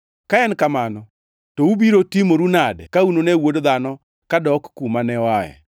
Ka en kamano, to ubiro timoru nade ka unune Wuod Dhano kadok kuma ne oae!